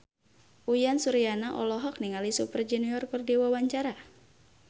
Uyan Suryana olohok ningali Super Junior keur diwawancara